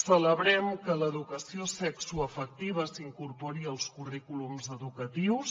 celebrem que l’educació sexoafectiva s’incorpori als currículums educatius